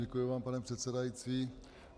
Děkuji vám, pane předsedající.